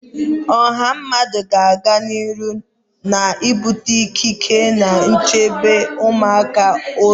Ọha mmadụ ga-aga n'ihu na-ebute ikike na nchebe ụmụaka ụzọ